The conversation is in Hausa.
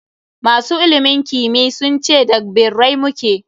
Masu ilimin kimiyy sun ce da g birrai mu ke.